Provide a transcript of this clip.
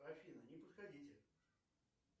афина не подходите